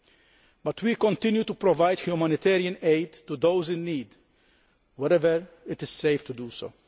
However, we continue to provide humanitarian aid to those in need, wherever it is safe to do so.